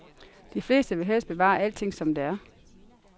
De fleste vil helst bevare alting som det er.